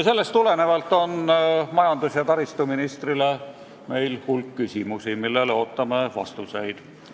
Sellest tulenevalt on meil majandus- ja taristuministrile hulk küsimusi, millele ootame vastuseid.